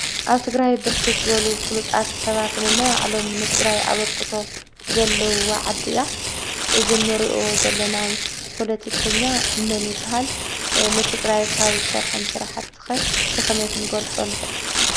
ኣብ ትግራይ ብርክት ዘበሉ ፍሉጣት ሰባት ነናይ ባዕሎም ንትግራይ ኣበርክቶ ዘለዋ ዓዲ እያ። እዚ ንሪኦ ዘለና ፖለቲከኛ መን ይበሃል? ንትግራይ ካብ ዝሰርሖም ስራሕቲ ኸ ብኸመይ ክንገልፆ ንኽእል ?